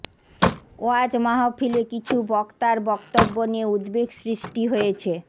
ওয়াজ মাহফিলে কিছু বক্তার বক্তব্য নিয়ে উদ্বেগ সৃষ্টি হয়েছে